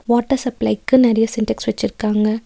Water சப்ளைக்கு நெறைய சின்டெக்ஸ் வெச்சிருக்காங்க.